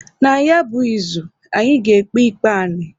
Na ya bụ izu, anyị ga-ekpe ikpe anị.